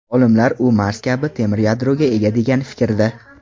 Olimlar u Mars kabi temir yadroga ega degan fikrda.